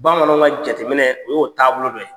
Bamananw ŋa jateminɛ o y'o taabolo dɔ ye.